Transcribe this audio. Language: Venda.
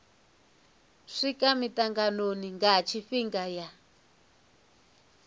swika mitanganoni nga tshifhinga ya